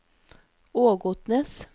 Ågotnes